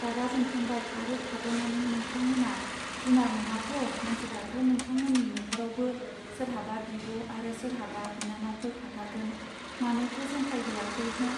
रागा जोंखांबाय आरो थादनानै नोंथां मोना जुनार नङाथ मानसिब्लाथ नोंथांमोननि नखरावबो सोरहाबा बिब आरो सोरहाबा बिनानावफोर थाथारगोन! मानोथो जंखाय हैयाखै हो.